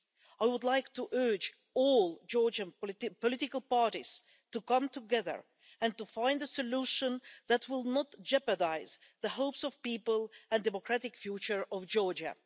I would like to urge all Georgian political parties to come together and to find a solution that will not jeopardise the hopes of people and the democratic future of Georgia.